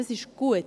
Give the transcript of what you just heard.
Das ist gut.